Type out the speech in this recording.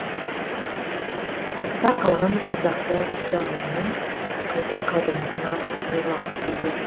артта қалған ардақты адамымның қайта қайрылмасына сенер уақыт келді